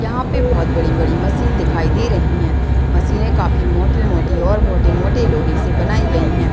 यहाँ पे बहुत बड़ी-बड़ी मशीन दिखाई दे रही है मशीने काफी मोटी-मोटी और मोटे-मोटे लोहे से बनाई गई है।